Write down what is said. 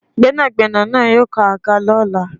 Gbénàgbénà naa yóò kan àga lọ́la